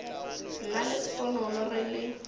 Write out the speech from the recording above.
nna le sponono re le